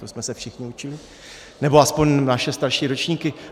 To jsme se všichni učili, nebo alespoň naše starší ročníky.